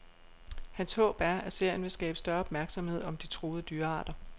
Hans håb er, at serien vil skabe større opmærksomhed om de truede dyrearter.